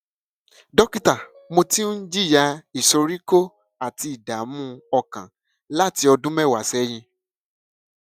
dókítà mo ti ń jìyà ìsoríkó àti ìdààmú ọkàn láti ọdún mẹwàá sẹyìn